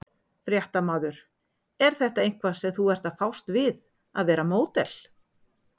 Fréttamaður: er þetta eitthvað sem þú ert að fást við að vera módel?